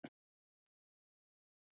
Já, það er það